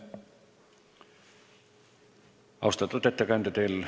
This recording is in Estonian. Austatud ettekandja!